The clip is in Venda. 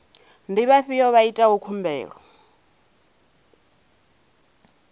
ndi vhafhiyo vha itaho khumbelo